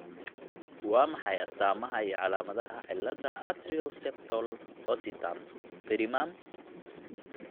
Waa maxay astamaha iyo calaamadaha cilladda Atrial septal ostium primum?